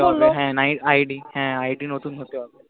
হ্য়াঁ id হেঁ id নতুন হতে হবে